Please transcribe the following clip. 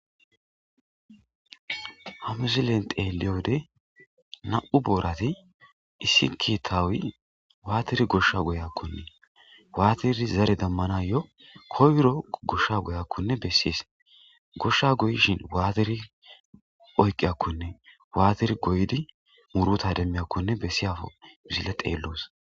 hamuzilen teeliyode na7u boorati issikitawui waatiri gosha goyakkonne waatiri zare dammana yo koyro goshsha goyakkonne bessies goshsha goyishin waatiri oyqqiyakkonne waatir goydi muruta demmiyakkonne bessiyafo zile xeelloos